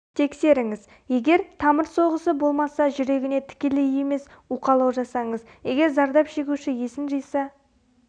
тексеріңіз егер тамыр соғысы болмаса жүрегіне тікелей емес уқалау жасаңыз егер зардап шегуші есін жиса